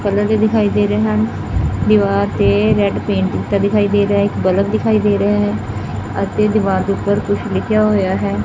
Colour ਦਿਖਾਈ ਦੇ ਰਹੇ ਹਨ ਦੀਵਾਰ ਤੇ ਰੈਡ ਪੇਂਟ ਕੀਤਾ ਦਿਖਾਈ ਦੇ ਰਿਹਾ ਇਕ ਬਲੱਬ ਦਿਖਾਈ ਦੇ ਰਿਹਾ ਹੈ ਅਤੇ ਦੀਵਾਰ ਦੇ ਉੱਪਰ ਕੁਝ ਲਿਖਿਆ ਹੋਇਆ ਹੈ।